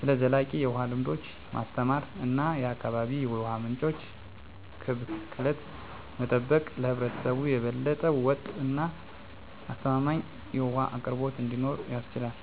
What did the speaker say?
ስለ ዘላቂ የውሃ ልምዶች ማስተማር እና የአካባቢ የውሃ ምንጮችን ከብክለት መጠበቅ ለህብረተሰቡ የበለጠ ወጥ እና አስተማማኝ የውሃ አቅርቦት እንዲኖር ያስችላል።